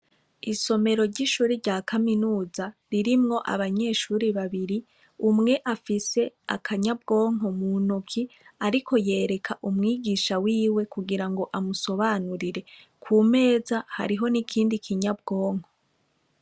Isomero ry'ishure rya kaminuza ririmwo abanyeshure babiri umwe afise akanyabwonko mu ntoke ariko yereka umwigisha wiwe kugirango amusobanurire ku meza hariho n'ikindi kinyabwonko.